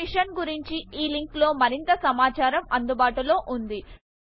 ఈ మిషన్ గురించి httpspoken tutorialorgNMEICT Intro లింక్ లో మరింత సమాచారము అందుబాటులో ఉన్నది